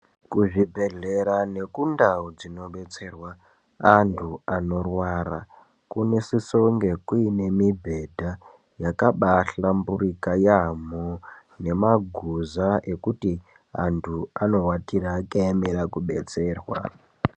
Kuzvibhehlera nekundau dzinobetserwa antu anorwara kunosisonge kuine mibhedha yakabahlamburika yaamho nemaguza ekuti antu anowatira akaemera kubetserwa.